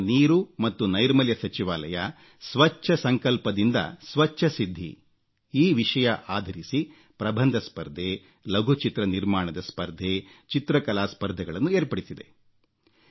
ಕುಡಿಯುವ ನೀರು ಮತ್ತು ನೈರ್ಮಲ್ಯ ಸಚಿವಾಲಯ ಸ್ವಚ್ಛ ಸಂಕಲ್ಪದಿಂದ ಸ್ವಚ್ಛ ಸಿದ್ಧಿ ವಿಷಯಾಧಾರಿಸಿ ಪ್ರಬಂಧ ಸ್ಪರ್ಧೆ ಲಘು ಚಿತ್ರ ನಿರ್ಮಾಣದ ಸ್ಪರ್ಧೆ ಚಿತ್ರಕಲಾ ಸ್ಪರ್ಧೆಗಳನ್ನು ಏರ್ಪಡಿಸಿದೆ